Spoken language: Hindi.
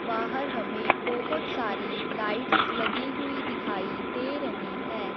बाहर हमें बहुत सारी लाइट्स लगी हुई दिखाई दे रही है।